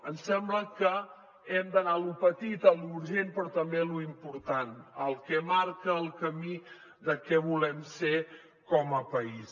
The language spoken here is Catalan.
ens sembla que hem d’anar a lo petit a lo urgent però també a lo important al que marca el camí de què volem ser com a país